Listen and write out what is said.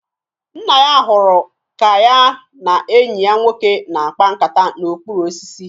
Nna ya hụrụ ka ya na enyi ya nwoke na-akpa nkata n'okpuru osisi